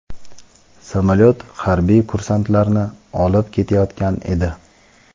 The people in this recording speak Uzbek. Samolyot harbiy kursantlarni olib ketayotgan edi.